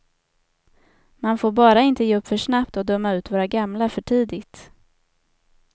Man får bara inte ge upp för snabbt och döma ut våra gamla för tidigt.